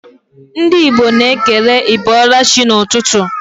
Ndị Igbo na-ekele 'ị bọọla chi' n'ụtụtụ